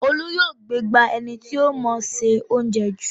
Olú yóò gbégbá ẹni tí ó mọọ ṣe óuńjẹ jù